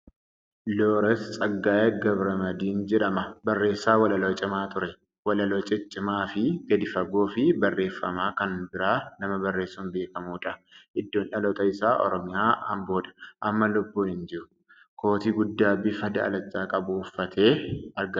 Looreet Tsaggaayee Gabramadiin jedhama. Barressaa walaloo cimaa ture. Walaloo ciccimaafi gadi fagoo, fi barreefama kan biraa nama barreessun beekamuudha. Iddoon dhaloota isaa Oromiyaa, Amboodha. Amma lubbuun hin jiru. Kootii guddaa bifa daalacha qabu uffatee argama.